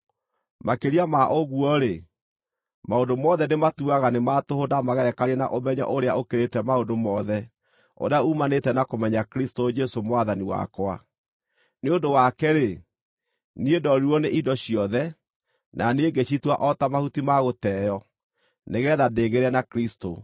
Makĩria ma ũguo-rĩ, maũndũ mothe ndĩmatuaga nĩ ma tũhũ ndamagerekania na ũmenyo ũrĩa ũkĩrĩte maũndũ mothe ũrĩa uumanĩte na kũmenya Kristũ Jesũ Mwathani wakwa. Nĩ ũndũ wake-rĩ, niĩ ndoorirwo nĩ indo ciothe, na niĩ ngĩcitua o ta mahuti ma gũteo, nĩgeetha ndĩgĩĩre na Kristũ,